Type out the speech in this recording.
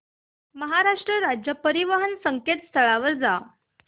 महाराष्ट्र राज्य परिवहन च्या संकेतस्थळावर जा